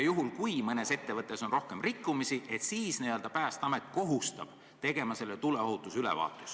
Kui mõnes ettevõttes on rohkem rikkumisi, siis saab Päästeamet omanikku kohustada tellima selle tuleohutusülevaatuse.